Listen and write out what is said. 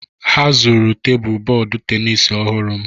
Ha zuru tebụl bọọdụ tenis ọhụrụ m